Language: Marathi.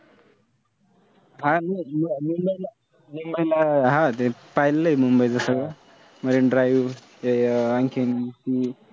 मुंबईला आह हां ते पाहिलेलं आहे मुंबईचं सगळं मरीन ड्राइव्ह, आणखीन त